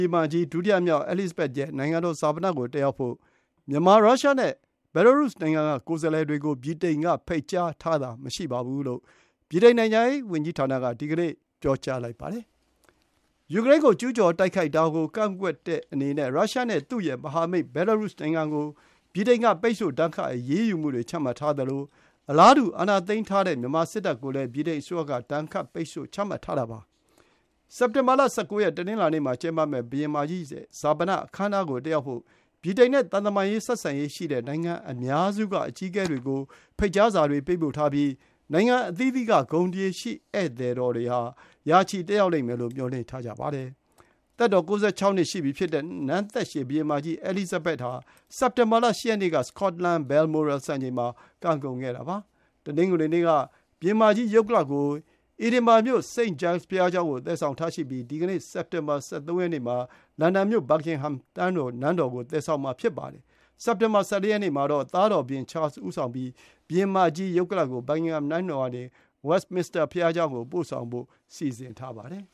င်မကြီး ဒုတိယမြောက် အဲလိစ်ဇဘက်သ်ရဲ့ နိုင်ငံတော်ဈာပနကို တက်ရောက်ဖို့ မြန်မာ၊ ရုရှားနဲ့ဘဲလားရုစ်နိုင်ငံတွေက ကိုယ်စားလှယ်တွေကို ဗြိတိန်က ဖိတ်ကြားထားတာမရှိဘူးလို့ ဗြိတိန်နိုင်ငံခြားရေးဌာနက ဒီကနေ့ ပြောပါတယ်။ ယူကရိန်းကို ကျူးကျော်တိုက်ခိုက်တာကိုကန့်ကွက်တဲ့အနေနဲ့ ရုရှားနဲ့ သူ့ရဲ့မဟာမိတ် ဘဲလားရုစ်နိုင်ငံကို ဗြိတိန်က ပိတ်ဆို့ဒဏ်ခတ် အရေးယူမှုတွေချမှတ်ထားသလို အာဏာသိမ်းထားတဲ့ မြန်မာစစ်တပ်ကိုလည်း ဗြိတိန်အစိုးရက အလားတူ ဒဏ်ခတ် ပိတ်ဆို့မှုတွေ ချမှတ်ထားတာပါ။ စက်တင်ဘာ ၁၉ ရက် တနင်္လာနေ့မှာ ကျင်းပမယ့် ဘုရင်မကြီး ဈာပနအခမ်းအနားကို တက်ရောက်ဖို့ ဗြိတိန်နဲ့ သံတမန်ဆက်ဆံရေးရှိတဲ့ နိုင်ငံအများစုက အကြီးအကဲတွေကို ဖိတ်ကြားစာတွေ ပေးပို့ထားပြီး နိုင်ငံအသီးသီးက ဂုဏ်သရေရှိ ဧည့်သည် ၅၀၀ လောက် တက်ရောက်မယ်လို့ မျှော်လင့်ထားကြောင်း BBC သတင်းဌာနက ပြောပါတယ်။ သက်တော် ၉၆ နှစ်ရှိပြီဖြစ်တဲ့ နန်းသက်ရှည်ဘုရင်မကြီး အဲလိစ်ဇဘက်သ်ဟာ စက်တင်ဘာလ ၈ ရက်နေ့က စကော့တလန် Balmoral စံအိမ်မှာ ကံကုန်ခဲ့တာပါ။ တနင်္ဂနွေနေ့က ဘုရင်မကြီး ရုပ်ကလာပ်ကို Edinburgh မြို့ St. Giles ဘုရားကျောင်းကို သယ်ဆောင်ထားရှိပြီး ဒီကနေ့ စက်တင်ဘာ ၁၃ ရက်နေ့မှာ လန်ဒန်မြို့ Buckingham နန်းတော်ကို သယ်ဆောင်မှာဖြစ်ပါတယ်။ စက်တင်ဘာ ၁၄ ရက်နေ့မှာတော့ သားတော် ဘုရင် Charles ဦးဆောင်ပြီး ဘုရင်မကြီး ရုပ်ကလာပ်ကို Buckingham နန်းတော်ကနေ Westminster ဘုရားကျောင်းကို ပို့ဆောင်ဖို့ စီစဉ်ထားပါတယ်